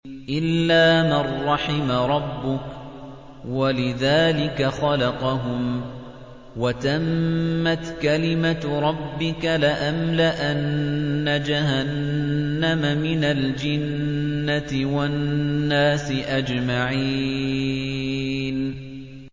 إِلَّا مَن رَّحِمَ رَبُّكَ ۚ وَلِذَٰلِكَ خَلَقَهُمْ ۗ وَتَمَّتْ كَلِمَةُ رَبِّكَ لَأَمْلَأَنَّ جَهَنَّمَ مِنَ الْجِنَّةِ وَالنَّاسِ أَجْمَعِينَ